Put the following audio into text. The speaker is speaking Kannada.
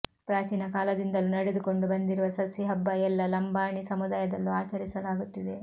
ಪ್ರಾಚೀನ ಕಾಲದಿಂದಲೂ ನಡೆದುಕೊಂಡು ಬಂದಿರುವ ಸಸಿ ಹಬ್ಬ ಎಲ್ಲ ಲಂಬಾಣಿ ಸಮುದಾಯದಲ್ಲೂ ಆಚರಿಸಲಾಗುತ್ತಿದೆ